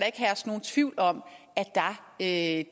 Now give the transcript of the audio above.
ikke herske nogen tvivl om at